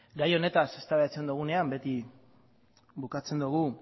gai honetaz eztabaidatzen dugunean beti bukatzen dugu